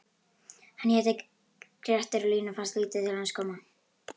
Hann hét Grettir og Línu fannst lítið til hans koma: